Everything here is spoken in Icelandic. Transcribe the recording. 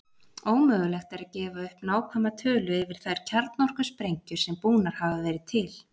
Ómögulegt er að gefa upp nákvæma tölu yfir þær kjarnorkusprengjur sem búnar hafa verið til.